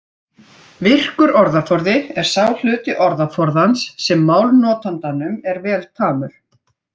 Virkur orðaforði er sá hluti orðaforðans sem málnotandanum er vel tamur.